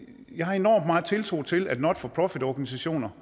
jeg har enorm meget tiltro til at not for profit organisationer